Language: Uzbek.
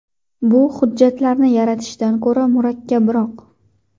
Bu hujjatlarni yaratishdan ko‘ra murakkabroq.